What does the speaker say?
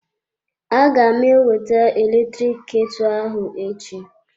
Aga m ewete eletrik ketu ahụ echi.